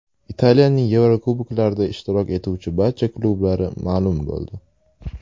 Italiyaning Yevrokuboklarda ishtirok etuvchi barcha klublari ma’lum bo‘ldi.